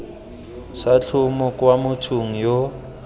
sa tlhomo kwa mothong yoo